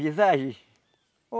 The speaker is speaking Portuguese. Visagem?